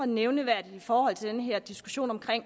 nævneværdigt i forhold til den her diskussion om